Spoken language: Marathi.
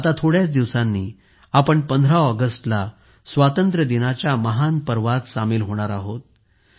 आता थोड्याच दिवसांनी आपण 15 ऑगस्टला स्वातंत्र्यदिनाच्या महान पर्वात सामील होणार आहोत